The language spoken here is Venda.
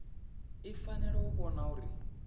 i fanela u vhona uri